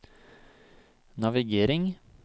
navigering